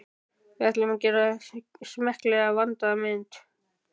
Við ætlum að gera smekklega, vandaða mynd.